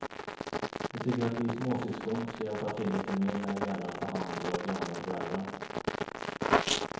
De tycker att vi småsyskon ska hjälpa till lite mer när det gäller att ta hand om våra gamla föräldrar.